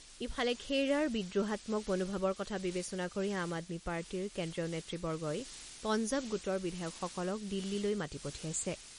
ইফালে, খেইৰাৰ বিদ্ৰোহাত্মক মনোভাৱৰ কথা বিবেচনা কৰি আম আদমী পাৰ্টীৰ কেন্দ্ৰীয় নেতৃবৰ্গই পঞ্জাব গোটৰ বিধায়কসকলক দিল্লীলৈ মাতি পঠিয়াইছে।